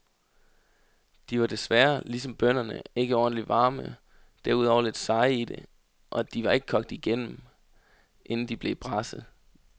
De var desværre, ligesom bønnerne, ikke ordentlig varme, derudover lidt seje i det, og de var ikke kogt igennem, inden de blev braset.